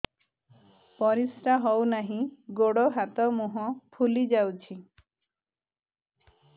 ପରିସ୍ରା ହଉ ନାହିଁ ଗୋଡ଼ ହାତ ମୁହଁ ଫୁଲି ଯାଉଛି